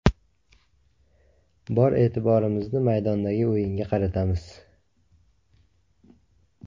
Bor e’tiborimizni maydondagi o‘yinga qaratamiz.